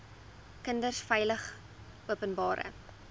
kinders veilig openbare